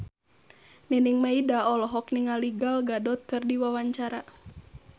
Nining Meida olohok ningali Gal Gadot keur diwawancara